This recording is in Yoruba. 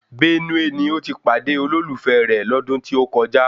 Bẹ́núè ni ó ti pàdé olólùfẹ́ rẹ̀ lọ́dún tí ó kọjá